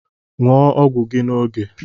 Ṅụọ ọgwụ gi n’oge